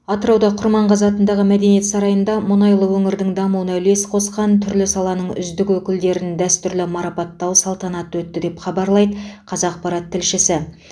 атырауда құрманғазы атындағы мәдениет сарайында мұнайлы өңірдің дамуына үлес қосқан түрлі саланың үздік өкілдерін дәстүрлі марапаттау салтанаты өтті деп хабарлайды қазақпарат тілшісі